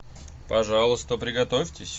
пожалуйста приготовьтесь